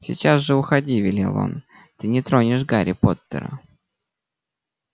сейчас же уходи велел он ты не тронешь гарри поттера